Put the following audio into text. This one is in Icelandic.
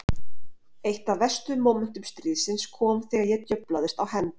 Eitt af verstu mómentum stríðsins kom þegar ég djöflaðist á hend